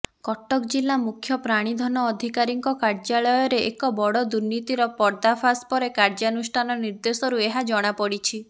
କଟକ ଜିଲ୍ଲା ମୁଖ୍ୟ ପ୍ରାଣୀଧନ ଅଧିକାରୀଙ୍କ କାର୍ଯ୍ୟାଳୟରେ ଏକ ବଡଦୁର୍ନୀତିର ପର୍ଦ୍ଦାଫାଶ ପରେ କାର୍ଯ୍ୟାନୁଷ୍ଠାନ ନିର୍ଦ୍ଦେଶରୁ ଏହା ଜଣାପଡିଛି